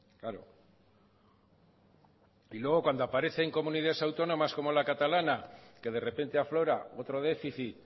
claro y luego cuando aparecen comunidades autónomas como la catalana que de repente aflora otro déficit